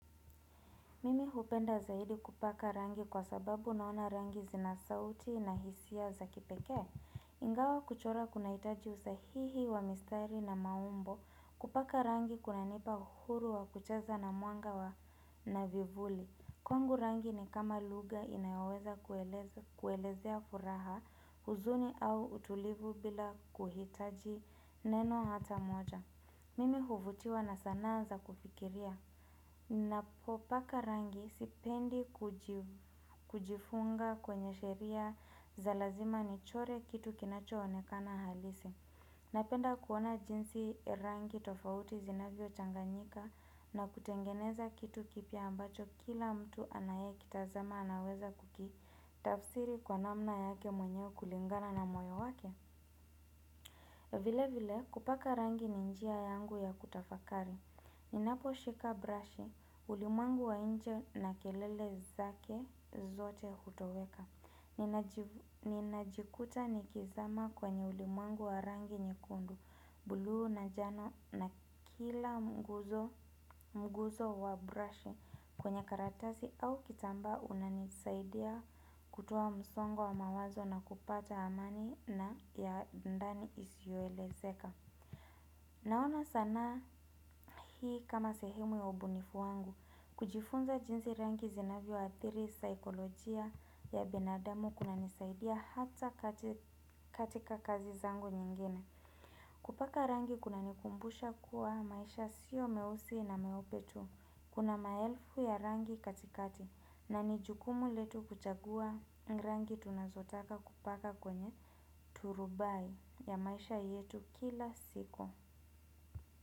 Mimi hupenda zaidi kupaka rangi kwa sababu naona rangi zina sauti na hisia za kipekee. Ingawa kuchora kuna hitaji usahihi wa mistari na maumbo kupaka rangi kuna nipa huru wa kucheza na mwanga wa na vivuli. Kwangu rangi ni kama lugha inayoweza kueleza kuelezea furaha huzuni au utulivu bila kuhitaji neno hata moja. Mimi huvutiwa na sanaa za kufikiria. Ninapo paka rangi sipendi kujifunga kwenye sheria za lazima nichore kitu kinacho onekana halisi napenda kuona jinsi rangi tofauti zinavyo changanyika na kutengeneza kitu kipya ambacho kila mtu anayekitazama anaweza kuki. Tafsiri kwa namna yake mwenyewe kulingana na moyo wake. Vile vile kupaka rangi ni njia yangu ya kutafakari. Ninapo shika brush, ulimwengu wa nje na kelele zake zote hutoweka. Nina jikuta ni kizama kwenye ulimwengu wa rangi nyekundu, bulu na jano na kila mguzo wa brush. Kwenye karatasi au kitamba unanisaidia kutoa msongwa mawazo na kupata amani na ya ndani isioelezeka. Naona sansa hii kama sehemu ya ubunifu wangu, kujifunza jinsi rangi zinavyo athiri saikolojia ya binadamu kuna nisaidia hata katika kazi zangu nyingine. Kupaka rangi kuna nikumbusha kuwa maisha sio meusi na meupe tu, kuna maelfu ya rangi katikati na nijukumu letu kuchagua rangi tunazotaka kupaka kwenye turubai ya maisha yetu kila siku.